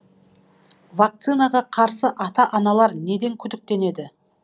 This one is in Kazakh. вакцинаға қарсы ата аналар неден күдіктенеді